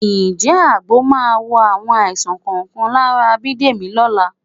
Ǹjẹ́ àgbo máa wo àwọn àìsàn kọ̀ọ̀kan lára Bídèmí lọ́la bí?